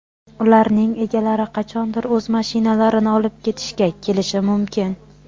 Ularning egalari qachondir o‘z mashinalarini olib ketishga kelishi mumkin.